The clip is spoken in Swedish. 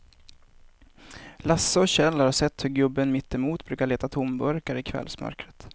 Lasse och Kjell har sett hur gubben mittemot brukar leta tomburkar i kvällsmörkret.